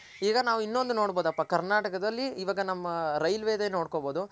ಈಗ ನಾವ್ ಇನೊಂದು ನೋಡ್ಬೌದು ಅಪ್ಪ ಕರ್ನಾಟಕದಲ್ಲಿ ಇವಾಗ ನಮ್ಮ ರೈಲ್ವೆ ದೆ ನೋಡ್ಕೊನ್ ಬೋದು.